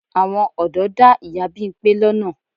Àwọn ọ̀dọ́ dá ìyá Bímpé lọ́nà.